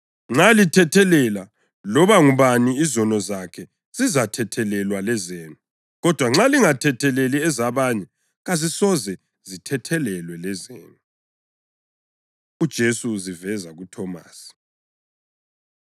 Nxa lithethelela loba ngubani izono zakhe, zizathethelelwa lezenu, kodwa nxa lingathetheleli ezabanye kazisoze zithethelelwe lezenu.” UJesu Uziveza KuThomasi